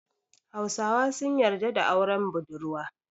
Hausawa sun yarda da auren budurwa.